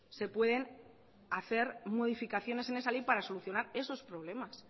se pueden hacer modificaciones en esa ley para solucionar esos problemas